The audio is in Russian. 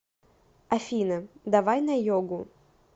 афина давай на йогу